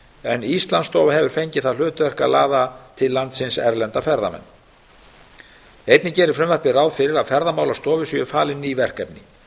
en íslandsstofa hefur fengið það hlutverk að laða til landsins erlenda ferðamenn einnig gerir frumvarpið ráð fyrir að ferðamálastofu sé falin ný verkefni